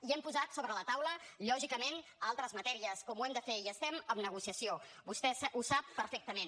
i hem posat sobre la taula lògicament altres matèries com ho hem de fer i estem en negociació vostè ho sap perfectament